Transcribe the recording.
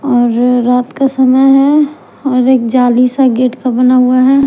और रात का समय है और एक जाली सा गेट का बना हुआ है।